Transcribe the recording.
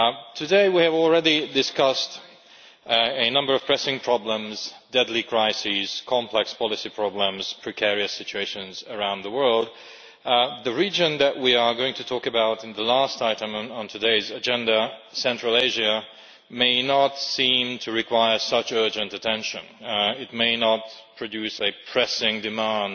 Today we have already discussed a number of pressing problems, deadly crises, complex policy problems and precarious situations around the world. The region that we are going to talk about in the last item on today's agenda, Central Asia, may not seem to require such urgent attention. It may not produce a pressing demand